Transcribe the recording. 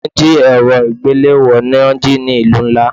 Wọ́n jí èrọ ìgbéléwọ́ ni wón jí ní ìlú ńlá.